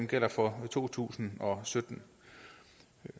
gælder for to tusind og sytten